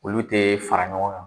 Olu tɛ fara ɲɔgɔn kan.